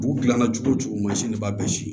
B'u gilanna cogo cogo mansin de b'a bɛɛ siri